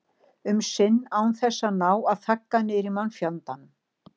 um sinnum án þess að ná að þagga niður í mannfjandanum.